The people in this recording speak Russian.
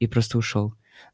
и просто ушёл